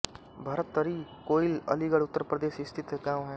भरतरि कोइल अलीगढ़ उत्तर प्रदेश स्थित एक गाँव है